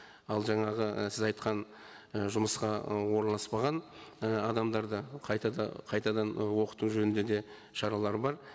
ал жаңағы і сіз айтқан і жұмысқа орналаспаған і адамдарды қайтадан ы оқыту жөнінде де шаралар бар